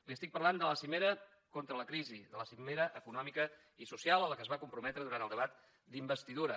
li estic parlant de la cimera contra la crisi de la cimera econòmica i social a la qual es va comprometre durant el debat d’investidura